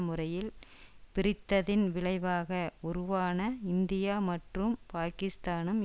முறையில் பிரித்ததின் விளைவாக உருவான இந்தியா மற்றும் பாகிஸ்தானும்